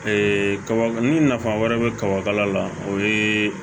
kaba ni nafa wɛrɛ bɛ kaba kala la o ye